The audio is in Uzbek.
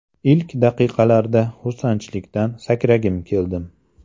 Ilk daqiqalarda xursandchilikdan sakragim keldim!